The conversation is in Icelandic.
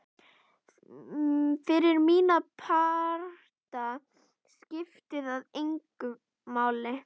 Fyrir mína parta skipti það engu máli.